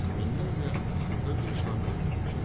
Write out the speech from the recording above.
Minlərlə xırda qırışlarla örtülmüşdü.